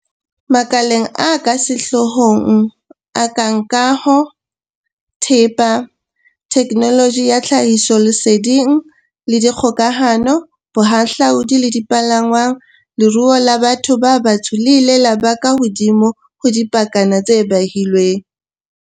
Makaleng a sehlooho a kang a kaho, thepa, theknoloji ya tlhahisoleseding le dikgokahano, bohahlaodi le dipalangwang, leruo la batho ba batsho le ile la ba ka hodimo ho dipakana tse behilweng.